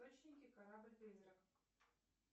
корабль призрак